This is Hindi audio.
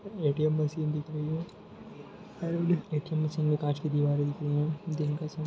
ए.टी.एम मशीन दिख रही है एंड ए.टी.एम मशीन में कांच की दीवारे दिख रही है दिन का समय--